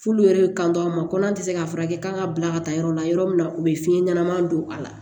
F'olu yɛrɛ bɛ kan to a ma kɔnɔ tɛ se k'a furakɛ kan ka bila ka taa yɔrɔ la yɔrɔ min na u bɛ fiɲɛ ɲanama don a la